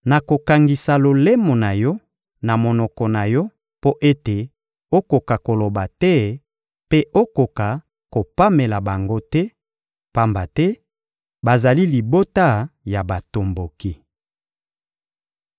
Nakokangisa lolemo na yo na monoko na yo mpo ete okoka koloba te mpe okoka kopamela bango te, pamba te bazali libota ya batomboki.